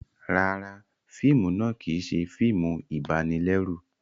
Ràrá, fíìmù náà kìí ṣe fíìmù ibanilẹru